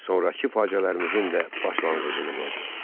Sonrakı faciələrimizin də başlanğıcını qoydu.